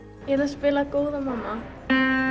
spila góða mamma